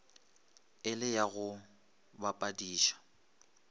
e le ya go bapadiša